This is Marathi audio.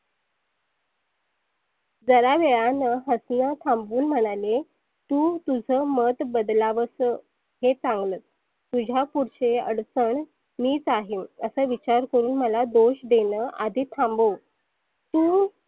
जरा वेळानं हसनं थांबवून म्हणाले तु तुझ मत बदलावस हे चांगलच. तुझ्या पुढचे अडचन मीच आहे. असं विचार करुण मला दोष देनं आधी थांबव. तु